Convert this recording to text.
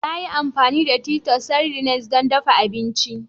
Na yi amfani da Titus sardines don dafa abinci